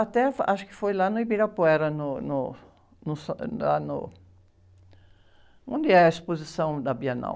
Até acho que foi lá no Ibirapuera, no, no, no, lá no, onde é a exposição da Bienal.